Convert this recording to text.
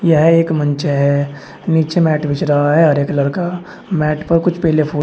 यह एक मंच है नीचे मैट बिछ रहा है हरे कलर का मैट पर कुछ पीले फूल--